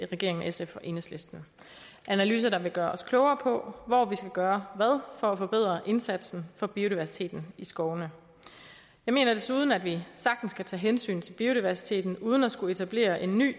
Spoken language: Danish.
regeringen sf og enhedslisten det analyser der vil gøre os klogere på hvor vi skal gøre hvad for at forbedre indsatsen for biodiversiteten i skovene jeg mener desuden at vi sagtens kan tage hensyn til biodiversiteten uden at skulle etablere en ny